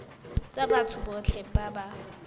tsa batho botlhe ba ba